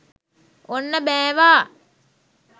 ඔන්න බෑවා